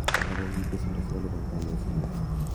Alak kokiib besendo sikolupan konyoise nyun.